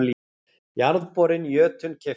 Jarðborinn Jötunn keyptur.